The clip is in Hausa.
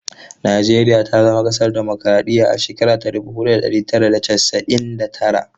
Najeriya ta zama kasar dimokuraɗiyya a shekara ta dubu ɗaya da ɗari tara da casa'in da tara.